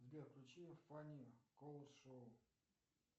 сбер включи фани колд шоу